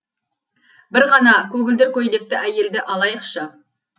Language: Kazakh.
бір ғана көгілдір көйлекті әйелді алайықшы